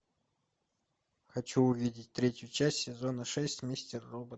хочу увидеть третью часть сезона шесть мистер робот